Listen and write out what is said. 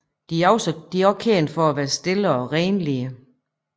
De er også kendt for at være stille og renlige